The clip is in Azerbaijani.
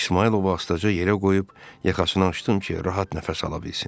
İsmayılovu astaca yerə qoyub yaxasını açdım ki, rahat nəfəs ala bilsin.